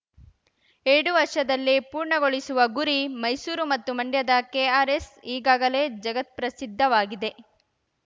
ಎರಡು ವರ್ಷದಲ್ಲಿ ಪೂರ್ಣಗೊಳಿಸುವ ಗುರಿ ಮೈಸೂರು ಮತ್ತು ಮಂಡ್ಯದ ಕೆಆರ್‌ಎಸ್‌ ಈಗಾಗಲೇ ಜಗತ್ಪ್ರಸಿದ್ಧವಾಗಿದೆ